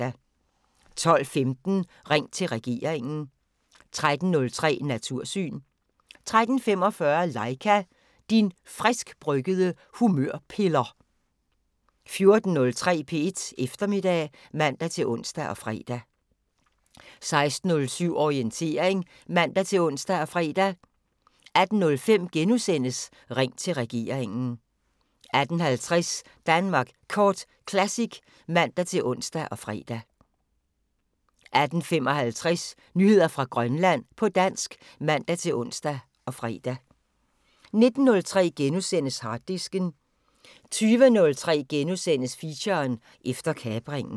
12:15: Ring til regeringen 13:03: Natursyn 13:45: Laika - din friskbryggede humørpiller 14:03: P1 Eftermiddag (man-ons og fre) 16:07: Orientering (man-ons og fre) 18:05: Ring til regeringen * 18:50: Danmark Kort Classic (man-ons og fre) 18:55: Nyheder fra Grønland på dansk (man-ons og fre) 19:03: Harddisken * 20:03: Feature: Efter kapringen *